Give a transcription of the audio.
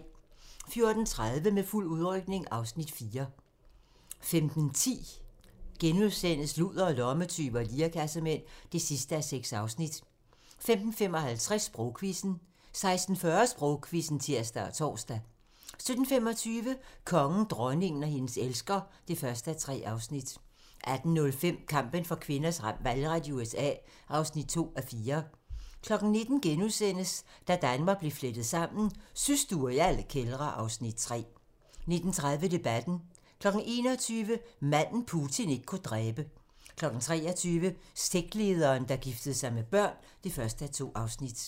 14:30: Med fuld udrykning (Afs. 4) 15:10: Ludere, lommetyve og lirekassemænd (6:6)* 15:55: Sprogquizzen 16:40: Sprogquizzen (tir og tor) 17:25: Kongen, dronningen og hendes elsker (1:3) 18:05: Kampen for kvinders valgret i USA (2:4) 19:00: Da Danmark blev flettet sammen: Systuer i alle kældre (Afs. 3)* 19:30: Debatten 21:00: Manden, Putin ikke kunne dræbe 23:00: Sektlederen, der giftede sig med børn (1:2)